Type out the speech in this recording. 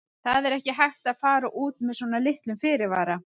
Það er ekki hægt að fara út með svona litlum fyrirvara.